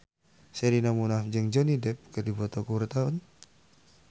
Sherina Munaf jeung Johnny Depp keur dipoto ku wartawan